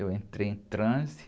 Eu entrei em transe.